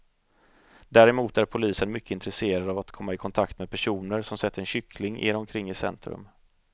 Däremot är polisen mycket intresserad av att komma i kontakt med personer som sett en kyckling irra omkring i centrum.